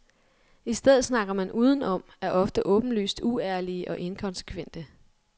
I stedet snakker man udenom, er ofte åbenlyst uærlige og inkonsekvente.